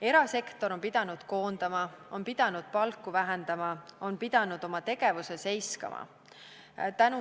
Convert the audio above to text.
Erasektor on pidanud koondama, on pidanud palku vähendama, on pidanud oma tegevuse seiskama.